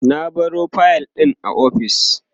na baro fayil ɗin a ofis